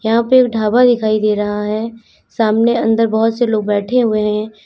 यहां पर एक ढाबा दिखाई दे रहा है सामने अंदर बहोत से लोग बैठे हुए हैं।